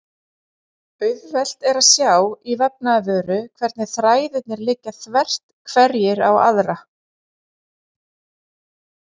Auðvelt er að sjá í vefnaðarvöru hvernig þræðirnir liggja þvert hverjir á aðra.